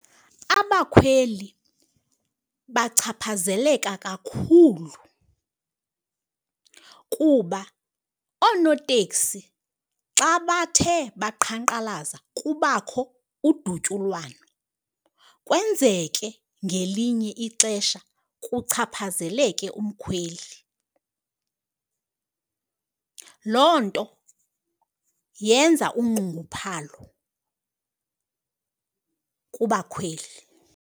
Abakhweli bachaphazeleka kakhulu kuba oonoteksi xa bathe baqhankqalaza kubakho udutyulwano, kwenzeke ngelinye ixesha kuchaphazeleke umkhweli. Loo nto yenza unxunguphalo kubakhweli.